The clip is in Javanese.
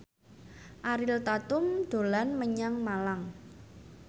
Ariel Tatum dolan menyang Malang